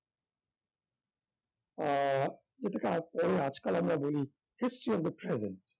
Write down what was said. আহ এটাকে আজ~ আজকাল আমরা বলি history of the present